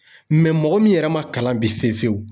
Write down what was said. mɔgɔ min yɛrɛ ma kalan bi fiye fiyewu